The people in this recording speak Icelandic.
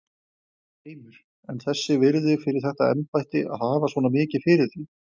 Heimir: En þess virði fyrir þetta embætti að hafa svona mikið fyrir því?